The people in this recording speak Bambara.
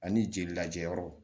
Ani jeli lajɔyɔrɔ